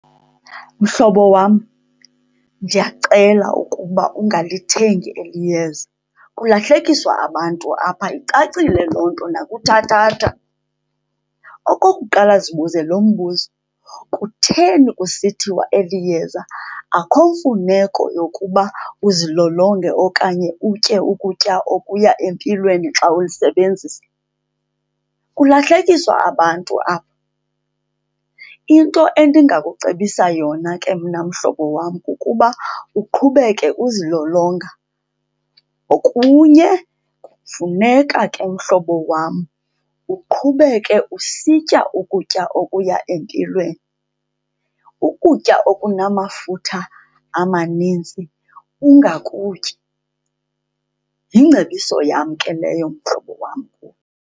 Mhlobo wam, ndiyacela ukuba ungalithengi eli yeza. Kulahlekiswa abantu apha, icacile loo nto nakuthathatha. Okokuqala, zibuze lo mbuzo. Kutheni kusithiwa eli yeza akho mfuneko yokuba uzilolonge okanye utye ukutya okuya empilweni xa ulisebenzisa? Kulahlekiswa abantu apha. Into endingakucebisa yona ke mna mhlobo wam kukuba uqhubeke uzilolonga. Okunye, kufuneka ke mhlobo wam, uqhubeke usitya ukutya okuya empilweni, ukutya okunamafutha amanintsi ungakutyi. Yingcebiso yam ke leyo, mhlobo wam.